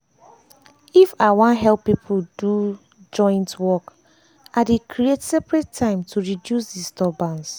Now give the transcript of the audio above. if i wan help people do do joint work i dey creat separete time to reduce disturbance.